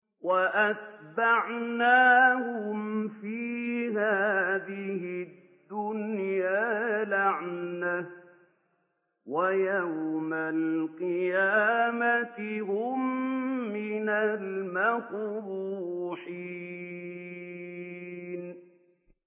وَأَتْبَعْنَاهُمْ فِي هَٰذِهِ الدُّنْيَا لَعْنَةً ۖ وَيَوْمَ الْقِيَامَةِ هُم مِّنَ الْمَقْبُوحِينَ